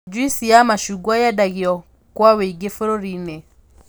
Njuici ya macungwa yendagio kua wũingĩ bũrũri-inĩ